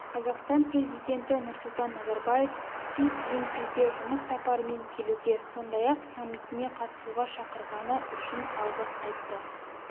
қазақстан президенті нұрсұлтан назарбаев си цзиньпинге жұмыс сапарымен келуге сондай-ақ саммитіне қатысуға шақырғаны үшін алғыс айтты